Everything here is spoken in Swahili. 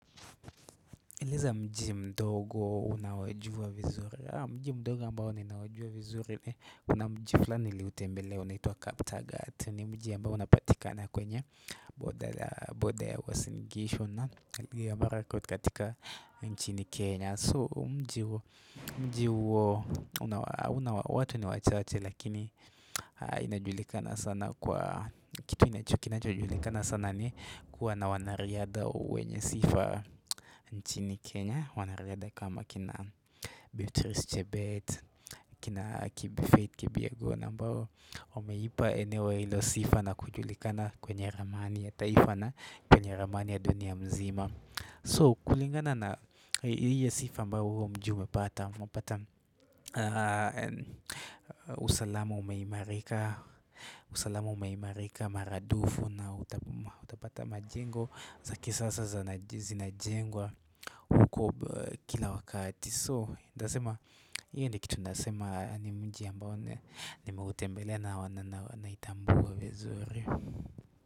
Eleza mji mdogo unaojua vizuri Mji mdogo ambao ninaujua vizuri kunamji flani niliutembelea unaituwa Kaptagat nimji ambao unapatika na kwenye Border ya uasingishu na elgeyo marakwet katika nchini Kenya So mji hauna watu ni wachache lakini kitu kinachojulikana sana ni kuwa na wanariadha wenye sifa nchini kenya wanariadha kama kina Beatrice Chebet kina kibfaith kipyegon ambao wameipa eneo ilo sifa na kujulikana kwenye ramani ya taifana kwenye ramani ya dunia mzima so kulingana na ile sifa ambao huo mji umepata usalamu ume imarika usalamu ume imarika maradufu na utapata majengo za kisasa za zina jengwa huko kila wakati so ntasema hiyo ndikitu nasema ni mji ambao nime utembele na wana naitambua vizuri.